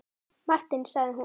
Martin sagði hún.